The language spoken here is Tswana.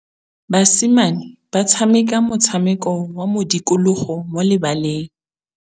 Basimane ba tshameka motshameko wa modikologô mo lebaleng.